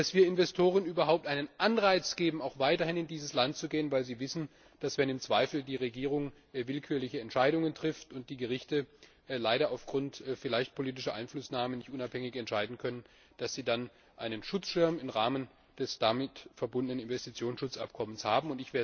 Außerdem müssen wir Investoren überhaupt einen Anreiz geben, auch weiterhin in dieses Land zu gehen, weil sie wissen, dass sie, wenn in einem Zweifel die Regierung willkürliche Entscheidungen trifft und die Gerichte leider aufgrund vielleicht politischer Einflussnahmen nicht unabhängig entscheiden können, dann einen Schutzschirm im Rahmen des damit verbundenen Investitionsschutzabkommens haben.